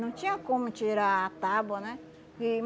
Não tinha como tirar a tábua, né? Que